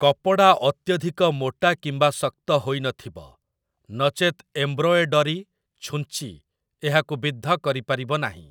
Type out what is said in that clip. କପଡ଼ା ଅତ୍ୟଧିକ ମୋଟା କିମ୍ବା ଶକ୍ତ ହୋଇନଥିବ, ନଚେତ୍ ଏମ୍ବ୍ରୋଏଡରୀ ଛୁଞ୍ଚି ଏହାକୁ ବିଦ୍ଧ କରିପାରିବ ନାହିଁ ।